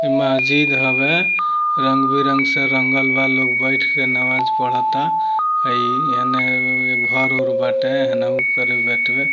ई महज़िद हवे रंग बिरंग से रंगल बा लोग बइठ के नमाज़ पढ़ता हइ एने घर उर बाटे हेनहु